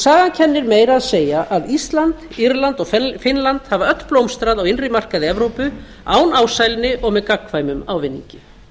sagan kennir meira að segja að ísland írland og finnland hafa öll blómstrað á innri markaði evrópu án ásælni og með gagnkvæmum ávinningi